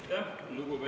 Aitäh, lugupeetud …